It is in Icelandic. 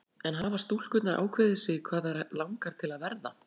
En hafa stúlkurnar ákveðið sig hvað þær langar til að verða?